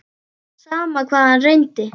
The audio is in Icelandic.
Sama hvað hann reyndi.